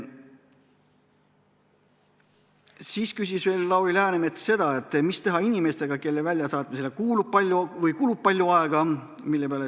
Siis küsis Lauri Läänemets veel seda, mida teha inimestega, kelle väljasaatmisele kulub palju aega.